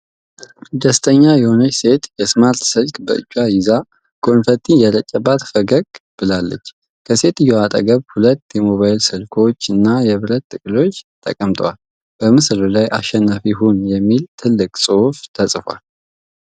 ደስተኛ የሆነች ሴት የስማርት ስልክ በእጇ ይዛ፣ ኮንፈቲ እየረጨባት ፈገግ ብላለች። ከሴትየዋ አጠገብ ሁለት የሞባይል ስልኮች እና የብር ጥቅሎች ተቀምጠዋል። በምስሉ ላይ "አሸናፊ ሁን!" የሚል ትልቅ ጽሑፍ ተጽፏል።